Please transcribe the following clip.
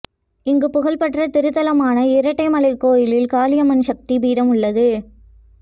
இங்கு புகழ்பெற்ற திருத்தலமான இரட்டைமலை கோவில் காளியம்மன் சக்தி பிடம் உள்ளது